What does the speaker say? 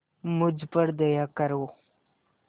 मुझ पर दया करो